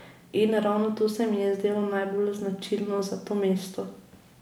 In ravno to se mi je zdelo najbolj značilno za to mesto.